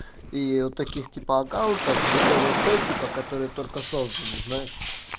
и вот таких типа аккаунтов ггвп типа которые только созданы знаешь